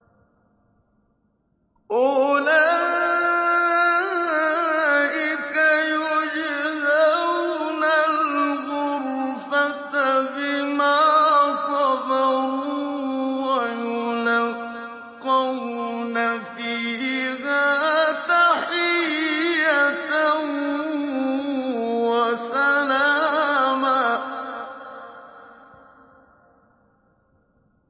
أُولَٰئِكَ يُجْزَوْنَ الْغُرْفَةَ بِمَا صَبَرُوا وَيُلَقَّوْنَ فِيهَا تَحِيَّةً وَسَلَامًا